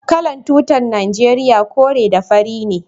Kalan tutan nageriya kore da fari ne.